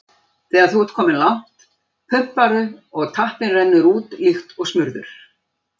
Þegar þú ert kominn langt, pumparðu og tappinn rennur úr líkt og smurður.